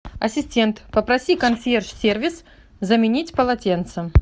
ассистент попроси консьерж сервис заменить полотенца